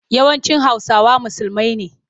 Yawancin Hausawa musulmai ne.